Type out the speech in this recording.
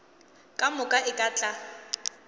ka moka e ka tla